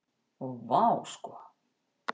Og vá sko.